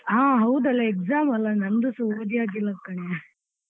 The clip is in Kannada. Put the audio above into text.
ಹಾ ಹೌದಲ್ಲ exam ಅಲ್ಲ ನನ್ದುಸ ಓದಿ ಆಗ್ಲಿಲ್ಲ ಕಣೆ.